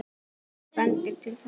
Hvað bendir til þess?